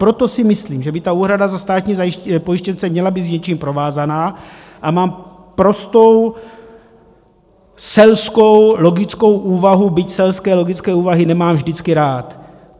Proto si myslím, že by ta úhrada za státní pojištěnce měla být s něčím provázaná, a mám prostou selskou logickou úvahu, byť selské logické úvahy nemám vždycky rád: